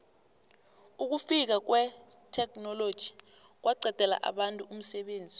ukufika kwetheknoloji kwaqedela abantu umsebenzi